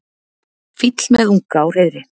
fýll með unga á hreiðri